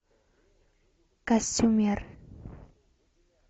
костюмер